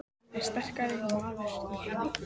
Hann er sterkasti maður í heimi!